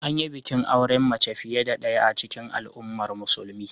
An yi bikin auren mace fiye da ɗaya a cikin al'ummar musulmin.